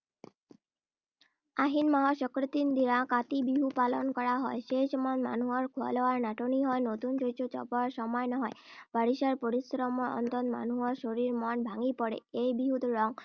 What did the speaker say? আহিন মাহৰ সংক্ৰান্তিৰ দিনা কাতি বিহু পালন কৰা হয়। সেই সময়ত মানুহৰ খোৱা-লোৱাৰ নাটনি হয়৷ নতুন শস্য চপোৱাৰ সময় নহয়। বাৰিষাৰ পৰিশ্ৰমৰ অন্তত মানুহৰ শৰীৰ-মন ভাঙি পৰে। এই বিহুত ৰং